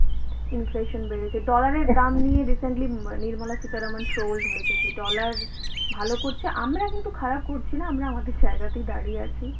inflation বেড়েছে, dollar এর দাম নিয়ে recently um Nirmala Sitharaman trolled হয়েছেন যে dollar ভালো করছে। আমরা কিন্তু খারাপ করছি না, আমরা আমাদের জায়গাতেই দাঁড়িয়ে আছি।